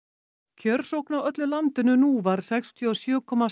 kjörsókn á öllu landinu nú var sextíu og sjö komma